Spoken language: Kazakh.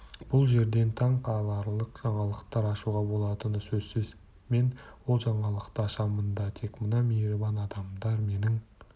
бұл жерден таң қаларлық жаңалықтар ашуға болатыны сөзсіз мен ол жаңалықты ашамын да тек мына мейірбан адамдар менің